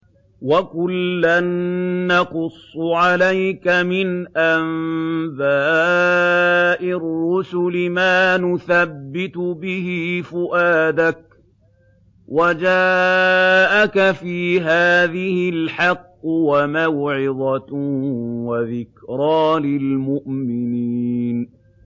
وَكُلًّا نَّقُصُّ عَلَيْكَ مِنْ أَنبَاءِ الرُّسُلِ مَا نُثَبِّتُ بِهِ فُؤَادَكَ ۚ وَجَاءَكَ فِي هَٰذِهِ الْحَقُّ وَمَوْعِظَةٌ وَذِكْرَىٰ لِلْمُؤْمِنِينَ